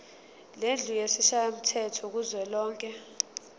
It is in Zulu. lendlu yesishayamthetho kuzwelonke